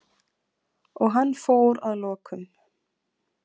Og hann fór að lokum.